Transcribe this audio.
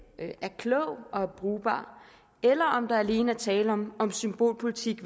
det er klogt og brugbart eller om der alene er tale om om symbolpolitik